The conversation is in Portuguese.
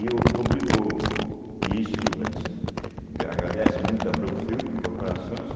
E o obrigou, e isso a gente gra agradece muito à Brookfield, incorporações,